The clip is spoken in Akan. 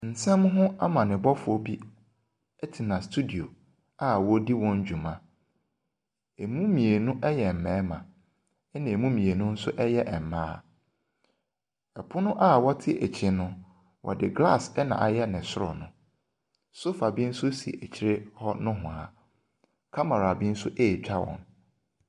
Nsɛmho amane bɔfoɔ bi, ɛtena studio a ɔredi wɔn dwuma. Emu mmienu yɛ mmarima ɛna emu mmienu nso ɛyɛ mmaa. Ɛpono a wɔte akyire no ɔde glass n'ayɛ ne soro no. Sofa bi nso si akyire hɔ nowhaa. Camera bi nso ɛretwa wɔn.